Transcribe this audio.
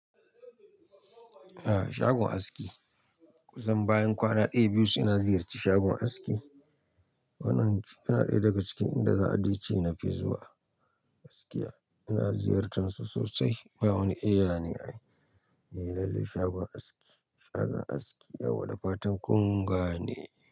A'a shagon aski. Kusan bayan kwana ɗaya, biyu sai na ziyarci shagon aski. Wannan yana ɗaya daga cikin inda za a dai ce na fi zuwa gaskiya. Ina ziyartar su sosai. Bai wani iya ne a yi. Lallai shagon aski, shagon aski yawa da fatan ƙunga ne.